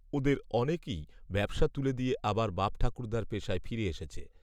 ওদের অনেকেই ব্যবসা তুলে দিয়ে আবার বাপঠাকুর্দ্দার পেশায় ফিরে এসেছে